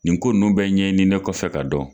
Nin ko ninnu bɛɛ ɲɛɲininen kɔfɛ k'a dɔn.